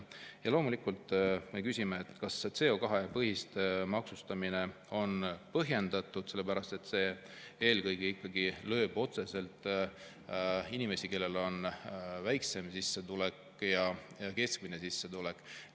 Ja loomulikult me küsime, kas see CO2-põhine maksustamine on põhjendatud, sellepärast et see eelkõige ikkagi lööb otseselt inimesi, kellel on väiksem sissetulek ja keskmine sissetulek.